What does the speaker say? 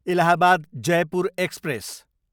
Allahabad, Jaipur express